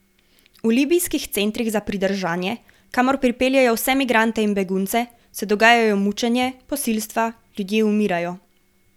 V libijskih centrih za pridržanje, kamor pripeljejo vse migrante in begunce, se dogajajo mučenje, posilstva, ljudje umirajo.